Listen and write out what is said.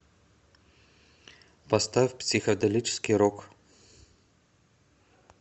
поставь психоделический рок